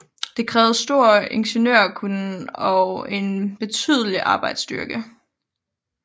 Det krævede stor ingeniørkunnen og en betydelig arbejdsstyrke